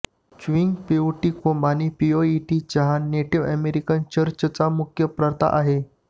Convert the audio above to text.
chewing peyote कोंब आणि peyote चहा नेटिव्ह अमेरिकन चर्चचे मुख्य प्रथा आहेत